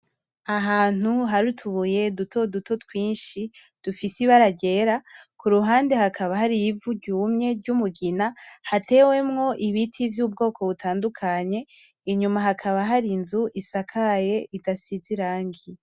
Ahantu harutubuye dutoduto twinshi, dufise ibara ryera, ku ruhande hakaba hari ivu ryumye ry'umugina hatewemwo ibiti vy'ubwoko butandukanye, inyuma hakaba hari inzu isakaye idasize irangi.